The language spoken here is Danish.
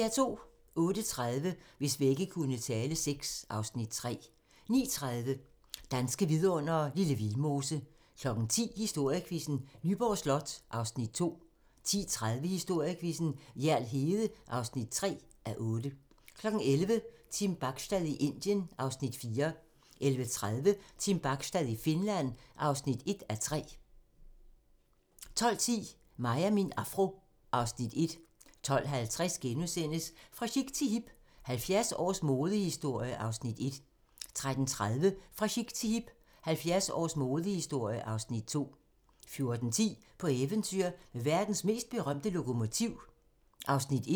08:30: Hvis vægge kunne tale VI (Afs. 3) 09:30: Danske vidundere: Lille Vildmose 10:00: Historiequizzen: Nyborg Slot (2:8) 10:30: Historiequizzen: Hjerl Hede (3:8) 11:00: Team Bachstad i Indien (Afs. 4) 11:30: Team Bachstad i Finland (1:3) 12:10: Mig og min afro (Afs. 1) 12:50: Fra chic til hip - 70 års modehistorie (Afs. 1)* 13:30: Fra chic til hip - 70 års modehistorie (Afs. 2) 14:10: På eventyr med verdens mest berømte lokomotiv (1:2)